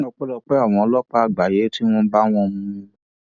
ọpẹlọpẹ àwọn ọlọpàá àgbáyé tí wọn bá wọn mú un